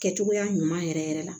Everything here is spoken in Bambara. Kɛcogoya ɲuman yɛrɛ yɛrɛ yɛrɛ la